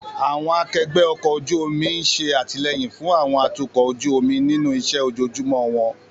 Àwọn akẹgbẹ́ ọkọ̀ ojú omi ń ṣe àtìlẹ́yìn fún àwọn atukọ̀ ojú omi nínú iṣẹ́ ojoojúmọ́ wọn.